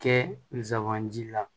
Kɛ zandi la